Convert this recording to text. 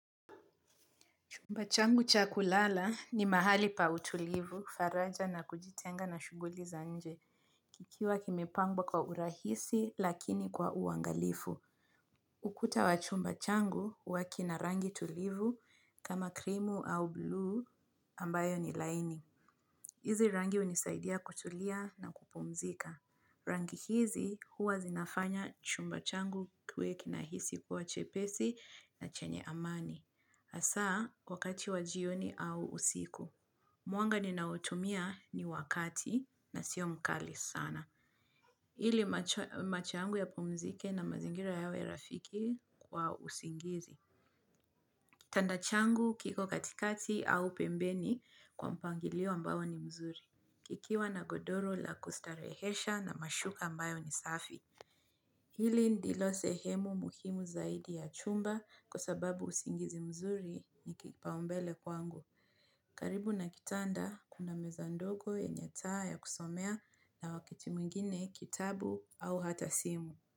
Chumba changu chakulala ni mahali pa utulivu, faraja na kujitenga na shuguli za nje. Kikiwa kimepangwa kwa urahisi lakini kwa uangalifu. Ukuta wa chumba changu, huwa kina rangi tulivu kama krimu au bluu ambayo ni laini. Hizi rangi hunisaidia kutulia na kupumzika. Rangi hizi huwa zinafanya chumba changu kiwe kinahisi kuwa chepesi na chenye amani. Hasa, wakati wa jioni au usiku. Mwanga ninaotumia ni wa kati na sio mkali sana. Ili macho yangu yapumzike na mazingira yawe rafiki kwa usingizi. Kitanda changu kiko katikati au pembeni kwa mpangilio ambao ni mzuri. Kikiwa na godoro la kustarehesha na mashuka ambayo ni safi. Hili ndilo sehemu muhimu zaidi ya chumba kwa sababu usingizi mzuri ni kipaumbele kwangu. Karibu na kitanda, kuna meza ndogo yenye taa ya kusomea na wakati mwingine kitabu au hata simu.